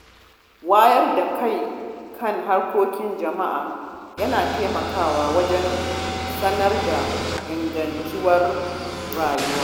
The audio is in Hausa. Wayar da kai kan hakkokin jama’a yana taimakawa wajen samar da ingantacciyar rayuwa.